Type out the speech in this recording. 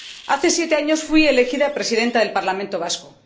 Hace siete años fui elegida Presidenta del Parlamento Vasco.